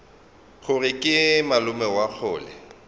gore ke malome wa kgole